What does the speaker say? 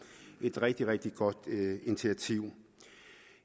et rigtig rigtig godt initiativ